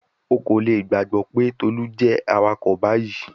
O ko le gbagbọ pe Tolu jẹ awakọ bayi